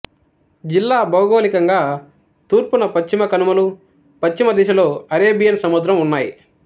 జిల్లా భౌగోళికంగా తూర్పున పశ్చిమ కనుమలు పశ్చిమ దిశలో అరేబియన్ సముద్రం ఉన్నాయి